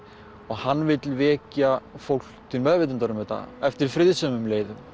hann vill vekja fólk til meðvitundar um þetta eftir friðsömum leiðum